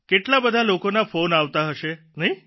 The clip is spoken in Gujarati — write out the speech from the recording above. કેટલા બધા લોકોના ફોન આવતા હશે નહિં